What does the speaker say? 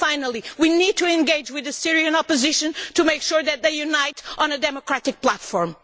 Finally, we need to engage with the Syrian opposition to make sure they unite on a democratic platform.